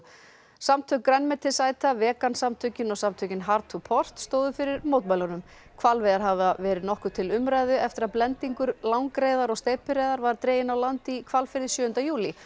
samtök grænmetisæta vegan samtökin og samtökin to port stóðu fyrir mótmælunum hvalveiðar hafa verið nokkuð til umræðu eftir að blendingur langreyðar og steypireyðar var dreginn á land í Hvalfirði sjöunda júlí